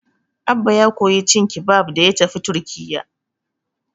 Abba ya koyi cin kibab da ya tafi Turkiyya.